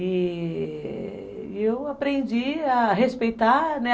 E... eu aprendi a respeitar, né?